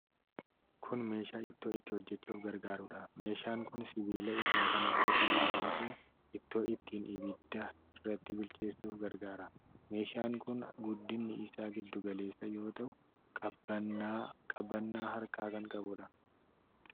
Kun meeshaa ittoo itti hojjachuuf gargaarudha. Meeshaan kun sibiila irraa kan hojjatame yoo ta'u, ittoo ittiin ibidda irratti bilcheessuuf gargaara. Meeshaan kun guddinni isaa giddu galeessa yoo ta'u, qabannaa harkaa kan qabuudha.